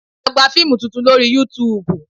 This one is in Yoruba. A gba fíìmù tuntun lórí Yutuùbù